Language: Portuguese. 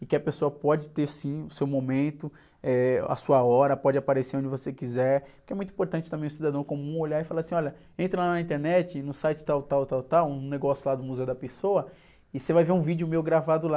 e que a pessoa pode ter, sim, o seu momento, eh, a sua hora, pode aparecer onde você quiser, porque é muito importante também o cidadão comum olhar e falar assim, olha, entra lá na internet, no site tal, tal, tal, tal, um negócio lá do, e você vai ver um vídeo meu gravado lá.